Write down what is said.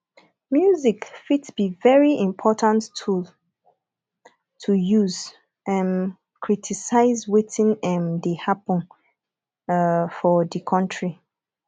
music fit be very important tool to use um criticize wetin um dey happen um for di country